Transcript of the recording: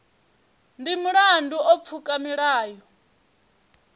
ndi mulandu u pfuka milayo